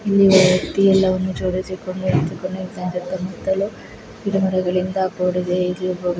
ಇಲ್ಲಿ ಒಬ್ಬ ವ್ಯಕ್ತಿ ಎಲ್ಲಾವನ್ನು ಜೋಡಿಸಿಕೊಂಡು ಸುತ್ತಮುತ್ತಲು ಗಿಡಮರಗಳಿಂದ ಕೂಡಿದೆ ಇಲ್ಲಿ ಒಬ್ಬ--